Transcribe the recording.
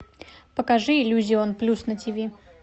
покажи иллюзион плюс на ти ви